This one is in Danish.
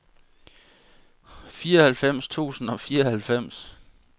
fireoghalvfems tusind og fireoghalvfems